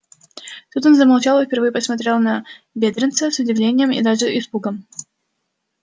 тут он замолчал и впервые посмотрел на бедренца с удивлением и даже испугом